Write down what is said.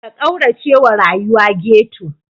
Ka kauracewa rayuwa ghetto.